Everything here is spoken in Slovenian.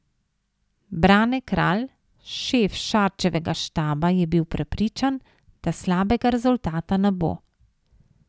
Brane Kralj, šef Šarčevega štaba je bil prepričan, da slabega rezultata ne bo.